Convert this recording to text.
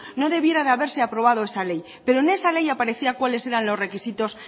no debiera de haberse aprobado esa ley pero en esa ley aparecía cuáles eran los requisitos